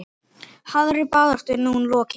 Harðri baráttu er nú lokið.